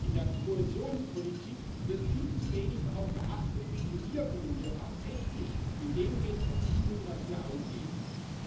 In der Kohäsionspolitik wird viel zu wenig darauf geachtet, welche Wirkungen wir tatsächlich mit dem Geld, das wir ausgeben, erzielen.